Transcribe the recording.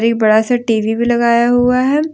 एक बड़ा सा टी_वी भी लगाया हुआ है।